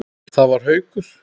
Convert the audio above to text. Það var Haukur.